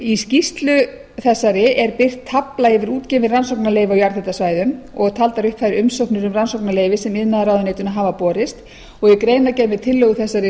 í skýrslu þessari er birt tafla yfir útgefin rannsóknarleyfi á jarðhitasvæðum og taldar upp þær umsóknir um rannsóknarleyfi sem iðnaðarráðuneytinu hafa borist í greinargerð með tillögu þegar